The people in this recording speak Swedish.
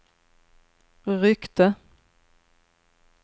ryckte